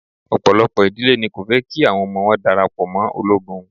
Ọ̀pọ̀lọpọ̀ ìdílé ni kò fẹ́ kí àwọn ọmọ wọn darapọ̀ mọ́ ológun.